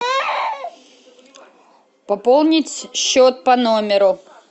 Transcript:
пополнить счет по номеру